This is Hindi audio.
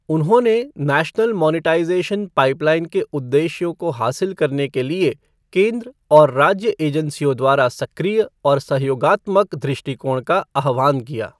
उन्होंने नेशनल मोनेटाइज़ेशन पाइपलाइन के उद्देश्यों को हासिल करने के लिए केंद्र और राज्य एजेंसियों द्वारा सक्रिय और सहयोगात्मक दृष्टिकोण का आह्वान किया।